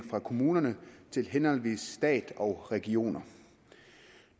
fra kommunerne til henholdsvis stat og regioner